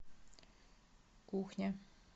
кухня